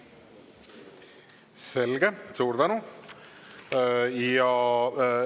Selge, suur tänu!